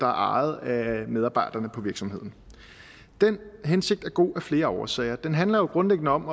ejet af medarbejderne på virksomheden den hensigt er god af flere årsager det handler grundlæggende om